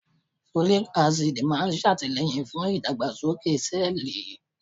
Folic Acid máa ń ṣàtìlẹ́yìn fún ìdàgbàsókè sẹ́ẹ̀lì